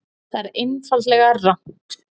Það er einfaldlega rangt